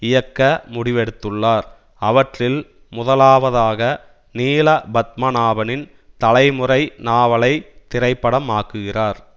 இயக்க முடிவெடுத்துள்ளார் அவற்றில் முதலாவதாக நீல பத்மநாபனின் தலைமுறை நாவலை திரைப்படமாக்குகிறார்